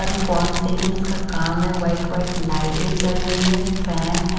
हर fall ceilings का काम है व्हाइट व्हाइट लाइटें जल रही है फैन है।